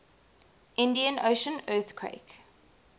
indian ocean earthquake